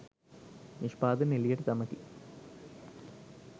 නිෂ්පාදන එළියට දමති